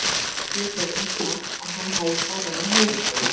Hann gat sjálfum sér um kennt að hann hafði farið á mis við þá.